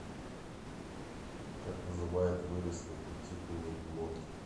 как называют выросты кутикулы в глотке